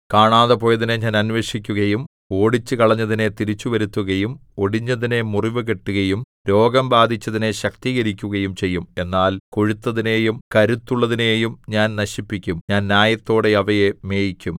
കാണാതെപോയതിനെ ഞാൻ അന്വേഷിക്കുകയും ഓടിച്ചുകളഞ്ഞതിനെ തിരിച്ചുവരുത്തുകയും ഒടിഞ്ഞതിനെ മുറിവുകെട്ടുകയും രോഗം ബാധിച്ചതിനെ ശക്തീകരിക്കുകയും ചെയ്യും എന്നാൽ കൊഴുത്തതിനെയും കരുത്തുള്ളതിനെയും ഞാൻ നശിപ്പിക്കും ഞാൻ ന്യായത്തോടെ അവയെ മേയിക്കും